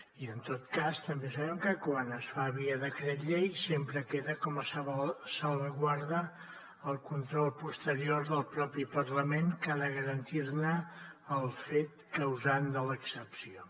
i en tot cas també sabem que quan es fa via decret llei sempre queda com a salvaguarda el control posterior del propi parlament que ha de garantir ne el fet causant de l’excepció